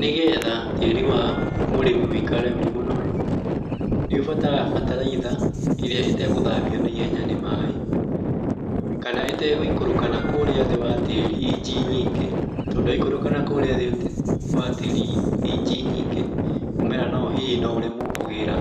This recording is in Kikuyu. Nĩgetha tĩĩri wa mũrĩmĩ wĩikare ũrĩ mũnoru, nĩ ũbataraga bataraitha ĩrĩa ĩtagũthambio na ihenya ni maĩ kana ĩtagũikũrũka nakũrĩa thĩ wa tĩĩri inji nyingĩ tondũ yaikũrũka nakũrĩa thĩ wa tĩĩri inji nyingĩ mũmera hihi no ũremwo kũgĩra